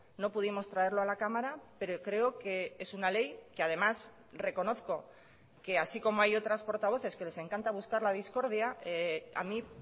no pudimos traerlo a la cámara pero creo que es una ley que además reconozco que así como hay otras portavoces que les encanta buscar la discordia a mí